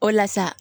O la sa